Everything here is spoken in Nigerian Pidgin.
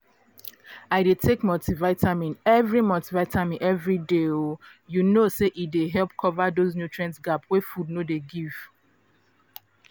i dey take multivitamin every multivitamin every day um you know say e dey help cover those nutrient gap wey food no dey give